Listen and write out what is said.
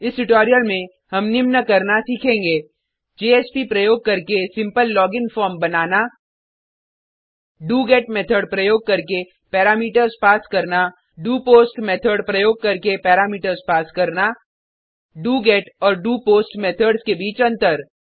इस ट्यूटोरियल में हम निम्न करना सीखेंगे जेएसपी प्रयोग करके सिम्पल लोगिन फॉर्म बनाना डोगेट मेथड प्रयोग करके पैरामीटर्स पास करना डोपोस्ट मेथड प्रयोग करके पैरामीटर्स पास करना डोगेट और डोपोस्ट मेथड्स के बीच अंतर